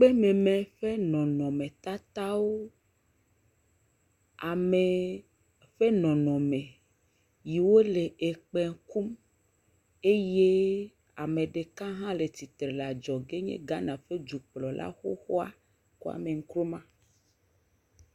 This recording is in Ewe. Kpémeme ƒe nɔnɔmetatawo. Ame ƒe nɔnɔme. Ɖewo le kpẽ kum eye ame ɖeka hã le tsi tre le adzɔge nye Ghana ƒe dukplɔla xoxoa Kwame Nkrumah.